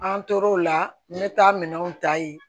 An tora o la n bɛ taa minɛnw ta yen